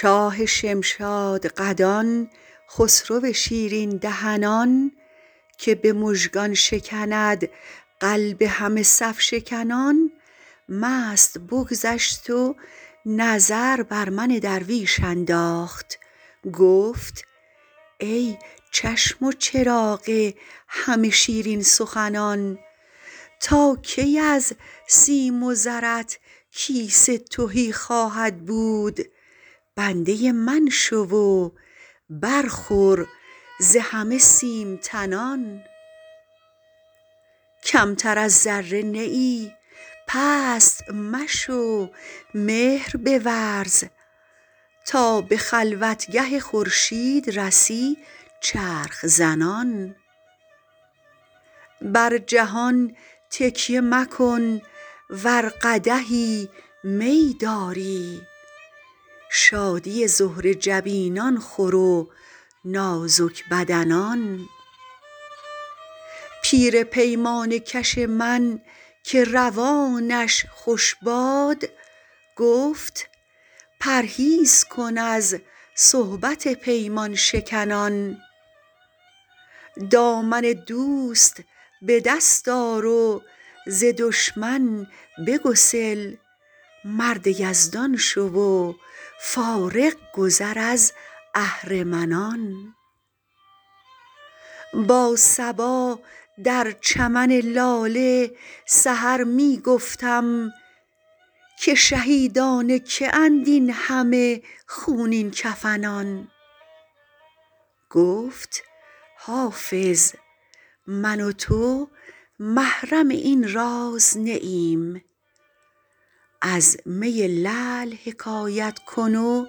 شاه شمشادقدان خسرو شیرین دهنان که به مژگان شکند قلب همه صف شکنان مست بگذشت و نظر بر من درویش انداخت گفت ای چشم و چراغ همه شیرین سخنان تا کی از سیم و زرت کیسه تهی خواهد بود بنده من شو و برخور ز همه سیم تنان کمتر از ذره نه ای پست مشو مهر بورز تا به خلوتگه خورشید رسی چرخ زنان بر جهان تکیه مکن ور قدحی می داری شادی زهره جبینان خور و نازک بدنان پیر پیمانه کش من که روانش خوش باد گفت پرهیز کن از صحبت پیمان شکنان دامن دوست به دست آر و ز دشمن بگسل مرد یزدان شو و فارغ گذر از اهرمنان با صبا در چمن لاله سحر می گفتم که شهیدان که اند این همه خونین کفنان گفت حافظ من و تو محرم این راز نه ایم از می لعل حکایت کن و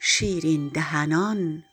شیرین دهنان